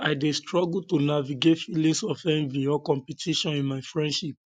i dey struggle to navigate feelings of envy or competition in my friendships